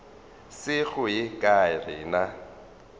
se go ye kae rena